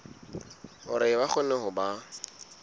hore ba kgone ho ba